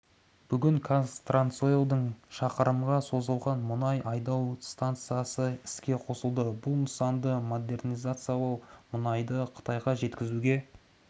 бүгін қазтрансойлдың шақырымға созылған мұнай айдау станциясы іске қосылды бұл нысанды модернизациялау мұнайды қытайға жеткізуге